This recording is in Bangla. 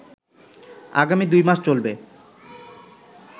আগামী দুইমাস চলবে